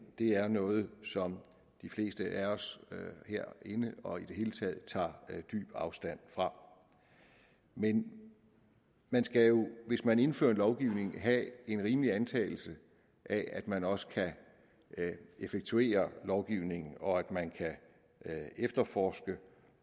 er noget som de fleste af os herinde og i det hele taget tager dyb afstand fra men hvis man indfører en lovgivning må man have en rimelig antagelse af at man også kan effektuere lovgivningen og at man kan efterforske